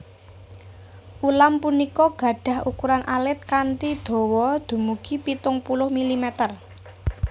Ulam punika gadhah ukuran alit kanthi dawa dumugi pitung puluh milimeter